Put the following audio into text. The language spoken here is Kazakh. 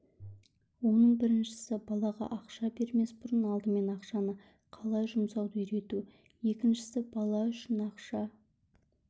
оның біріншісі балаға ақша бермес бұрын алдымен ақшаны қалай жұмсауды үйрету екіншісі бала үшін ақша